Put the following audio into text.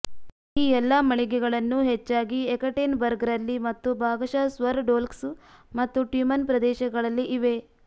ಈ ಎಲ್ಲಾ ಮಳಿಗೆಗಳನ್ನು ಹೆಚ್ಚಾಗಿ ಯೆಕಟೇನ್ಬರ್ಗ್ ರಲ್ಲಿ ಮತ್ತು ಭಾಗಶಃ ಸ್ವರ್ ಡ್ವೊಲ್ಸ್ಕ್ ಮತ್ತು ಟ್ಯುಮೆನ್ ಪ್ರದೇಶಗಳಲ್ಲಿ ಇವೆ